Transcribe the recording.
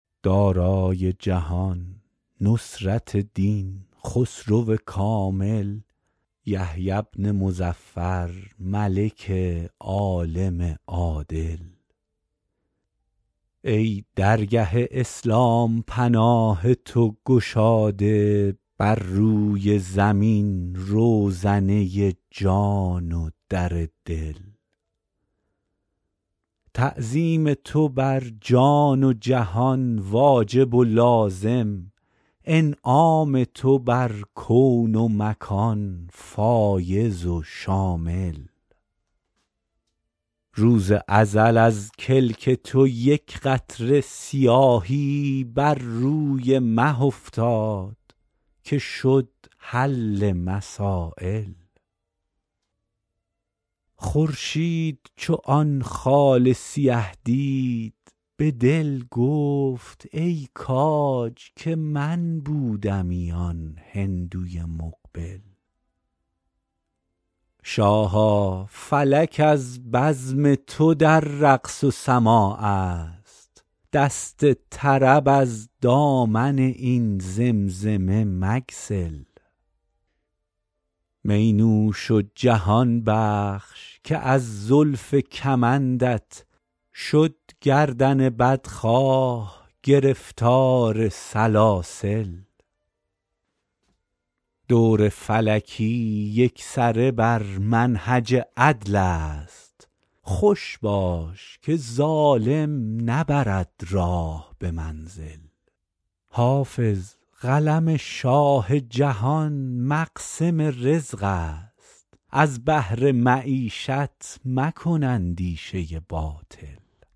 دارای جهان نصرت دین خسرو کامل یحیی بن مظفر ملک عالم عادل ای درگه اسلام پناه تو گشاده بر روی زمین روزنه جان و در دل تعظیم تو بر جان و خرد واجب و لازم انعام تو بر کون و مکان فایض و شامل روز ازل از کلک تو یک قطره سیاهی بر روی مه افتاد که شد حل مسایل خورشید چو آن خال سیه دید به دل گفت ای کاج که من بودمی آن هندوی مقبل شاها فلک از بزم تو در رقص و سماع است دست طرب از دامن این زمزمه مگسل می نوش و جهان بخش که از زلف کمندت شد گردن بدخواه گرفتار سلاسل دور فلکی یکسره بر منهج عدل است خوش باش که ظالم نبرد راه به منزل حافظ قلم شاه جهان مقسم رزق است از بهر معیشت مکن اندیشه باطل